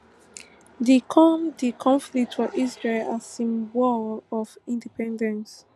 di come di conflict for israel as im war of independence